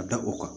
A da o kan